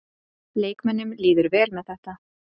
Leikmönnunum líður vel með þetta.